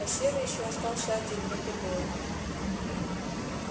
а серый ещё остался один вот и воет